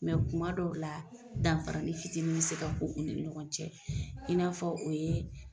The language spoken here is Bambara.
kuma dɔw la danfaranin fitini mi se ka k'u u ni ɲɔgɔn cɛ i n'a fɔ o ye